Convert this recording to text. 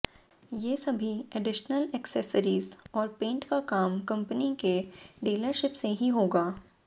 ये सभी additional accessories और पेंट का काम कंपनी के डीलरशीप से ही होगा